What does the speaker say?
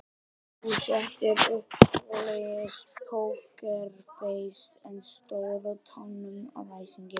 Þú settir upp svoleiðis pókerfeis en stóðst á tánum af æsingi.